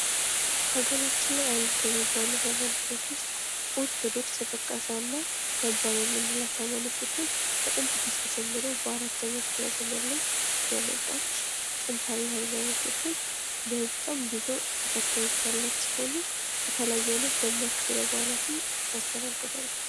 ሀገራችን ላይ አሉ ከሚባሉ ሀይማኖቶች ውስጥ ኦርቶዶክስ